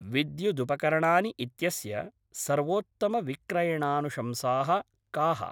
विद्युदुपकरणानि इत्यस्य सर्वोत्तमविक्रयणानुशंसाः काः?